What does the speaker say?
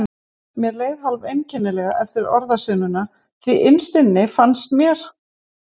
Mér leið hálfeinkennilega eftir orðasennuna, því innst inni fannst mér